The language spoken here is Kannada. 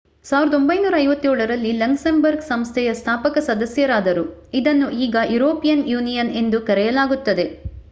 1957 ರಲ್ಲಿ ಲಕ್ಸೆಂಬರ್ಗ್ ಸಂಸ್ಥೆಯ ಸ್ಥಾಪಕ ಸದಸ್ಯರಾದರು ಇದನ್ನು ಈಗ ಯುರೋಪಿಯನ್ ಯೂನಿಯನ್ ಎಂದು ಕರೆಯಲಾಗುತ್ತದೆ